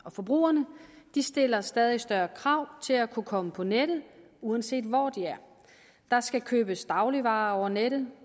og forbrugerne stiller stadig større krav til at kunne komme på nettet uanset hvor de er der skal købes dagligvarer over nettet